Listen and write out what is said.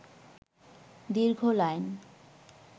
দীর্ঘ লাইন